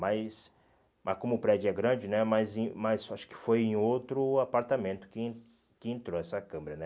Mas mas como o prédio é grande né mas em, mas eu acho que foi em outro apartamento que que entrou essa câmera né.